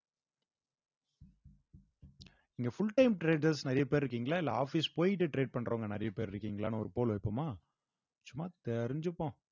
இங்க full time traders நிறைய பேர் இருக்கீங்களா இல்ல office போயிட்டு trade பண்றவங்க நிறைய பேர் இருக்கீங்களான்னு ஒரு pole வைப்போமா சும்மா தெரிஞ்சுப்போம்